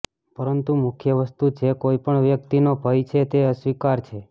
પરંતુ મુખ્ય વસ્તુ જે કોઈ પણ વ્યક્તિનો ભય છે તે અસ્વીકાર છે